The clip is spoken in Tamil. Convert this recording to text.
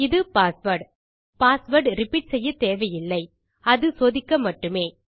இது பாஸ்வேர்ட் பாஸ்வேர்ட் ரிப்பீட் செய்யத் தேவையில்லை அது சோதிக்க மட்டுமே